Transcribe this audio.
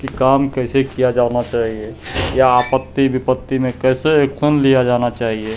ई काम कैसे किया जाना चाहिए या आपत्ति विपत्ति में कैसे एक्शन लिया जाना चाहिए।